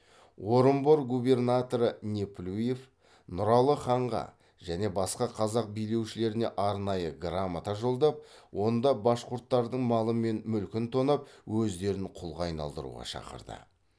орынбор губернаторы неплюев нұралы ханға және басқа қазақ билеушілеріне арнайы грамота жолдап онда башқұрттардың малы мен мүлкін тонап өздерін құлға айналдыруға шақырды